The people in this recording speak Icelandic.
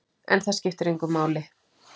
En það skipti engu máli.